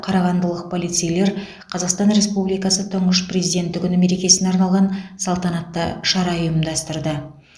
қарағандылық полицейлер қазақстан республикасы тұңғыш президенті күні мерекесіне арналған салтанатты шара ұйымдастырды